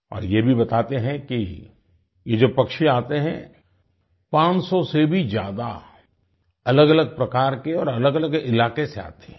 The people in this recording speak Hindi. और ये भी बताते हैं कि ये जो पक्षी आते हैं पांचसौ से भी ज्यादा अलगअलग प्रकार के और अलगअलग इलाके से आते हैं